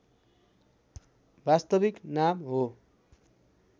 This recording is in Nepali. वास्तविक नाम हो